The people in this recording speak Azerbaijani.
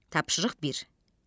Tapşırıq bir.